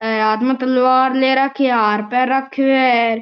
हे हाथ में तलवार ले राखी है हार पहर राख्यो है।